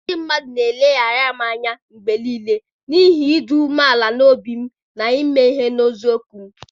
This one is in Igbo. Ndị mmadụ na-eleghara m anya mgbe nile n'ihi ịdị umeala n'obi m na ime ihe n'eziokwu m.